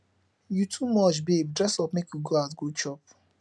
you too much babe dress up make we go out go chop